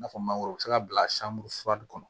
I n'a fɔ mangoro bɛ se ka bila san bu fur kɔnɔ